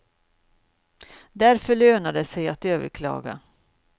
Därför lönar det sig att överklaga.